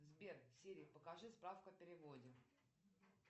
сбер сири покажи справка о переводе